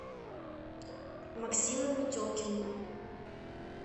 максимом метелкиным